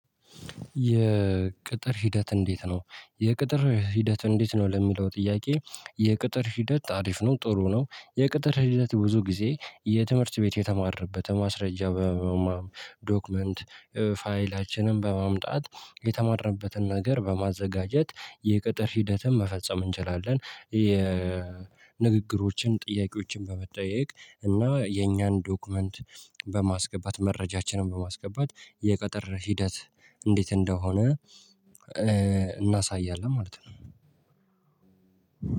የቅጥር ሂደት እንዴት ነው የቅጥር ሂደት እንዴት ነው? ለሚለው ጥያቄ የቅጥር ሂደት አሪፍ ነው ጥሩ ነው። የቅጥር ሂደት ብዙ ጊዜ የትምህርት ቤት የተማረንበት ማስረጃ። ዶክመንት ፋይላችንን በማምጣት የተማረንበትን ነገር በማዘጋጀት የቅጥር ሂደትን መፈጸም እንችላለን። የንግግሮችን ጥያቄዎችን በመጠየቅ እና የኛን ዶክመንት በማስገባት መረጃችንን በማስገባት የቅጥር ሂደት እንዴት እንደሆነ። እናሳያለን ማለት ነው።